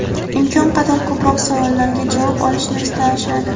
imkon qadar ko‘proq savollariga javob olishni istashadi.